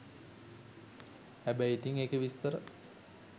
හැබැයි ඉතිං ඒකේ විස්තර